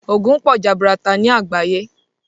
Òògùn pọ̀ jaburata ní àgbáyé.